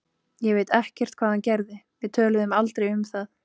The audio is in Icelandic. Ég veit ekkert hvað hann gerði, við töluðum aldrei um það.